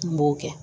N b'o kɛ